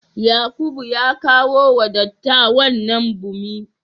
Yakubu, ka kawo wa dattawan nan bommi